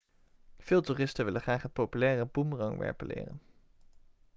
veel toeristen willen graag het populaire boemerangwerpen leren